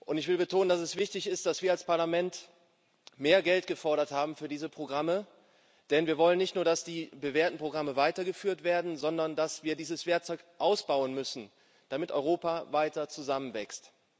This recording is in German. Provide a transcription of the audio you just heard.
Ich will betonen, dass es wichtig ist, dass wir als Parlament mehr Geld gefordert haben für diese Programme, denn wir wollen nicht nur, dass die bewährten Programme weitergeführt werden, sondern wir müssen dieses Werkzeug ausbauen, damit Europa weiter zusammenwächst.